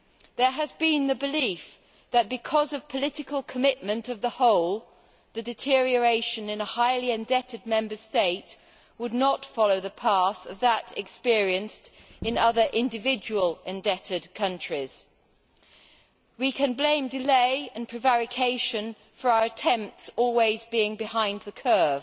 There has been a belief that, because of the political commitment of the whole, the deterioration in a highly indebted Member State would not follow the path of that experienced in other individual indebted countries. We can blame delay and prevarication for our attempts always being behind the curve,